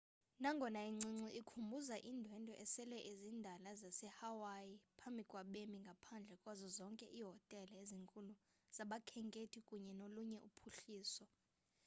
nangona incinci ikhumbuza iindwendwe esele zindala zasehawaii phambi kwabemi ngaphandle kwazo zonke iihotele ezinkulu zabakhenkethi kunye nolunye uphuhliso